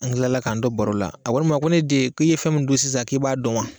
An kilala k'an to baro la a kɔni b'a ko ne den k'i ye fɛn min sisan k'i b'a dɔn wa